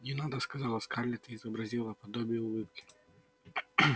не надо сказала скарлетт и изобразила подобие улыбки